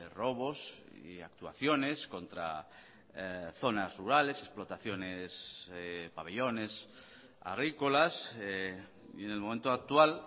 robos y actuaciones contra zonas rurales explotaciones pabellones agrícolas y en el momento actual